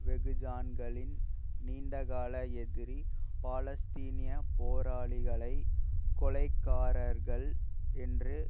வெகுஜானங்களின் நீண்டகால எதிரி பாலஸ்தீனிய போராளிகளை கொலைகாரர்கள் என்று